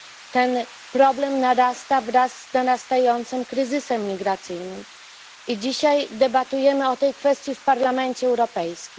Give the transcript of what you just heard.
Ten problem narasta wraz z narastającym kryzysem migracyjnym, i dzisiaj debatujemy o tej kwestii w Parlamencie Europejskim.